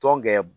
Tɔn gɛrɛ